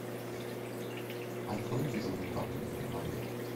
открой дежурный папа летний лагерь